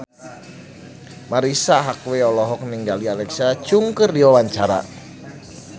Marisa Haque olohok ningali Alexa Chung keur diwawancara